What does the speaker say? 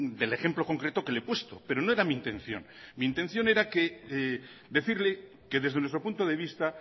del ejemplo concreto que le he puesto pero no era mi intención mi intención era decirle que desde nuestro punto de vista